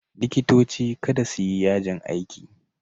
Likitoci kada su yi yajin aiki!